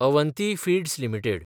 Avanti Feeds limited